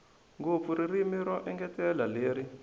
ngopfu ririmi ro engetela leri